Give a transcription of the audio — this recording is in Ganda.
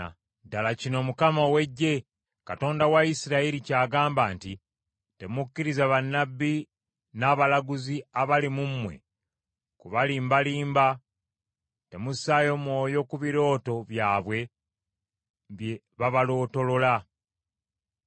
Ddala kino Mukama ow’Eggye, Katonda wa Isirayiri ky’agamba nti, “Temukkiriza bannabbi n’abalaguzi abali mu mmwe kubalimbalimba. Temussaayo mwoyo ku birooto byabwe bye babalootolola.